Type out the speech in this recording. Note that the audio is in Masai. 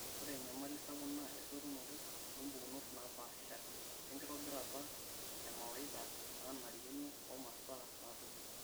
Ore enyamali sapuk na esotunto ompukunot naapasha, wenkitobirata emawaitha nanarikino oomasaa natumoi.